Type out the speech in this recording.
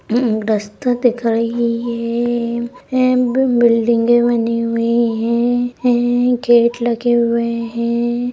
रास्ता दिख रही है। यहाँ पर बिल्डिंग भी बनी हुई है। गेट लगे हुए है।